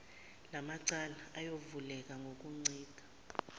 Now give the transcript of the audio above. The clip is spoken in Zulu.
lamacala ayovuleka ngokuncika